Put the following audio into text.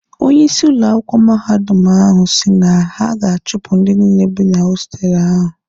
Onye isi ụlọ akwụkwọ mahadum ahụ si na ha ga-achụpụ ndị niile bị na hostelụ ahụ.